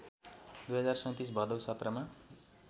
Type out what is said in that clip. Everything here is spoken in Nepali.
२०३७ भदैा १७ मा